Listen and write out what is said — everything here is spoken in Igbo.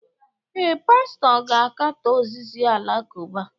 Ee, pastọ ga-akatọ ozizi Alakụba